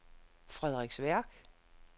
Frederiksværk